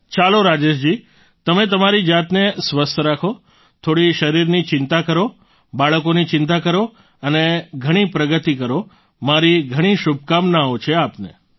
ચાલો રાજેશજી તમે તમારી જાતને સ્વસ્થ રાખો થોડી શરીરની ચિંતા કરો બાળકોની ચિંતા કરો અને ઘણી પ્રગતિ કરો મારી ઘણી શુભકામનાઓ છે આપને